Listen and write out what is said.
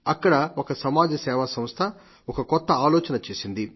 అక్కడ ఒక సమాజ సేవా సంస్థ ఒక కొత్త ఆలోచన చేసింది